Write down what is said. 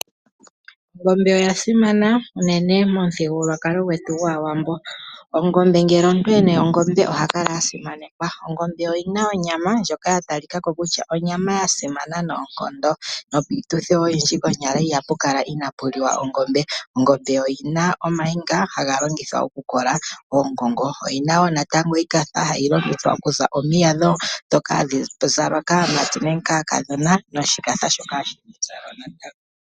Ongombe oya simana unene momuthigululwakalo gwetu gwaawambo. Ongombe ngele omuntu ena ongombe oha kala a simanekwa. Ongombe oyina onyama ndjoka ya talikako kutya onyama simana noonkondo nopiituthi oyindji konyala iha pu kala inaapuliwa ongombe. Ongombe oyina omayinga haga longithwa oku kola oongongo, oyina woo natango iikatha hayi longithwa oku za omiya dhoka hadhi za lwa kaamati nenge kaakadhona nosho ganda shoka hashi za lwa natango.